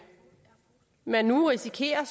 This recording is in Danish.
man nu risikerer